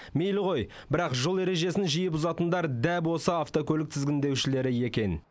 мейлі ғой бірақ жол ережесін жиі бұзатындар дәп осы автокөлік тізгіндеушілері екен